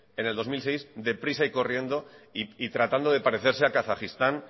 en el dos mil seis deprisa y corriendo y tratando de parecerse a kazajistán